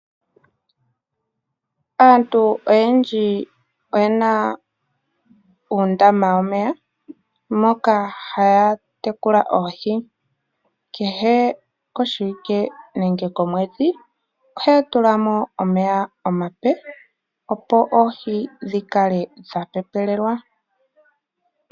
Aantu oyendji oye na uundama womeya moka haya tekula oohi kehe koshiwike nenge komwedhi ohaya tulamo omeya omape opo oohi dhi kale dha pepelelwa.